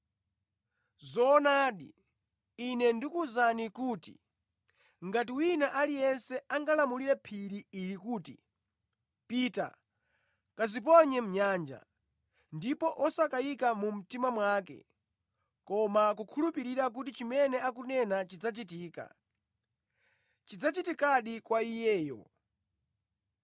Zoonadi, Ine ndikuwuzani kuti ngati wina aliyense angalamule phiri ili kuti, ‘Pita, kadziponye mʼnyanja,’ ndipo wosakayika mu mtima mwake koma kukhulupirira kuti chimene akunena chidzachitika, chidzachitikadi kwa iyeyo.